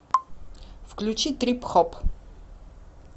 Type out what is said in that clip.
включи трип хоп